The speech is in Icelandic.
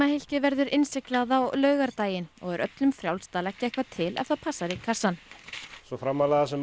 verður innsiglað á laugardaginn og er öllum er frjálst að leggja eitthvað til ef það passar í kassann svo framarlega sem